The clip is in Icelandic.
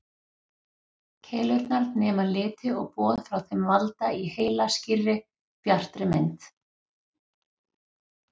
Keilurnar nema liti og boð frá þeim valda í heila skýrri, bjartri mynd.